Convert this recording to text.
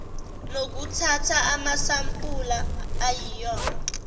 nokuthatha amasampula ayinoma